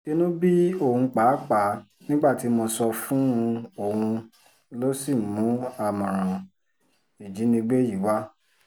inú bí òun pàápàá nígbà tí mo sọ fún un òun ló sì mú àmọ̀ràn ìjínigbé yìí wá